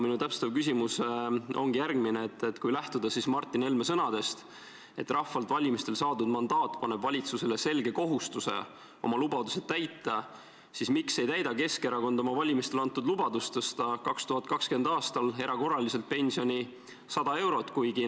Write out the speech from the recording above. Minu täpsustav küsimus ongi järgmine: kui lähtuda Martin Helme sõnadest, et rahvalt valimistel saadud mandaat paneb valitsusele selge kohustuse oma lubadusi täita, siis miks ei täida Keskerakond oma valimistel antud lubadust tõsta 2020. aastal erakorraliselt pensioni 100 euro võrra?